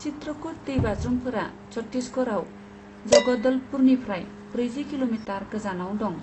चित्रकुट दैबाज्रुमफोरा छत्तिसगराव जगदलपुरनिफ्राय ब्रैजि किल'मिटार गोजानाव दं।